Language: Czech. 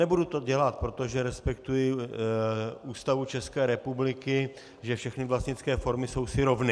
Nebudu to dělat, protože respektuji Ústavu České republiky, že všechny vlastnické formy jsou si rovny.